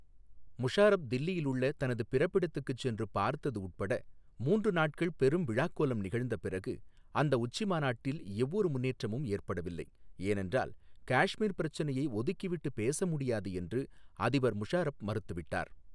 முஷாரப் தில்லியிலுள்ள தனது பிறப்பிடத்துக்குச் சென்று பார்த்தது உட்பட மூன்று நாட்கள் பெரும் விழாக்கோலம் நிகழ்ந்த பிறகு, அந்த உச்சி மாநாட்டில் எவ்வொரு முன்னேற்றமும் ஏற்படவில்லை, ஏனென்றால் காஷ்மீர் பிரச்சினையை ஒதுக்கிவிட்டுப் பேச முடியாது என்று அதிபர் முஷாரப் மறுத்துவிட்டார்.